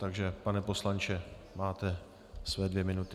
Takže pane poslanče, máte své dvě minuty.